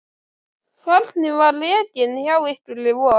Hvernig var rekinn hjá ykkur í vor?